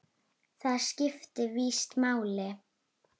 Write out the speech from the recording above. Það skipti víst máli.